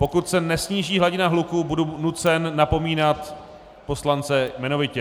Pokud se nesníží hladina hluku, budu nucen napomínat poslance jmenovitě.